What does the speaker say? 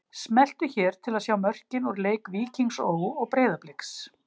Smelltu hér til að sjá mörkin úr leik Víkings Ó. og Breiðabliks